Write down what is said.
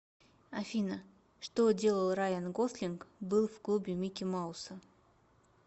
афина что делал райан гослинг был в клубе микки мауса